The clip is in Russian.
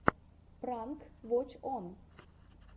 пранк воч он